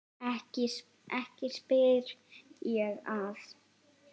Ekki spyr ég að.